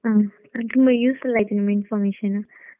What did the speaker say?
ಹಾ ತುಂಬಾ useful ಆಯಿತು ನಿಮ್ information.